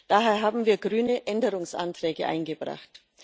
Daher haben wir Grüne Änderungsanträge eingebracht.